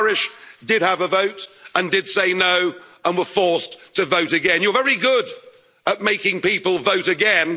Well, the Irish did have a vote and did say no and were forced to vote again. You're very good at making people vote